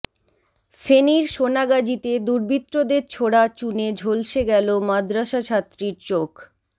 ফেনীর সোনাগাজীতে দুর্বৃত্তদের ছোড়া চুনে ঝলসে গেল মাদ্রাসাছাত্রীর চোখ